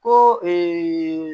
Ko